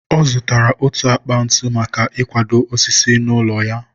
ọ zụtara otu akpa ntu maka i kudo ósísí ụlọ ya.